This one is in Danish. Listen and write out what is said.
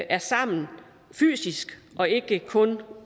er sammen fysisk og ikke kun